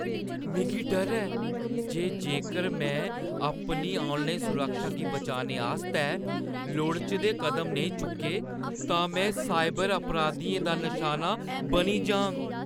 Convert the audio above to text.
मिगी डर ऐ जे जेकर में अपनी ऑनलाइन सुरक्षा गी बचाने आस्तै लोड़चदे कदम नेईं चुक्के तां में साइबर अपराधियें दा निशाना बनी जाङ।